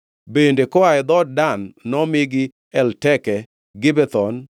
Bende koa e dhood Dan nomigi Elteke, Gibethon,